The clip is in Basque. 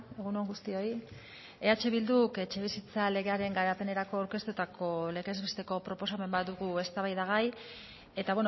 egun on guztioi eh bilduk etxebizitza legearen garapenerako aurkeztutako legez besteko proposamen bat dugu eztabaidagai eta